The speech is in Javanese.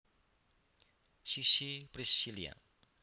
Sissy Priscillia